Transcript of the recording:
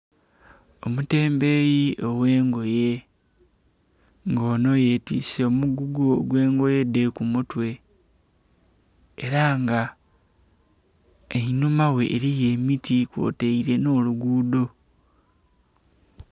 Omutembeyi ogh'engoye nga ono yetiise omugugu ogw'engoye dhe ku mutwe era nga einhuma ghe eriyo emiti kwotaire n'oluguudo.